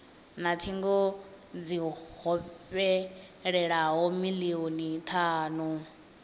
na thingo dzi hovhelelaho milioni thanu